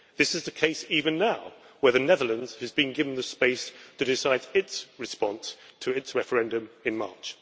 This is the case even now, where the Netherlands has been given the space to decide its response to its referendum in March.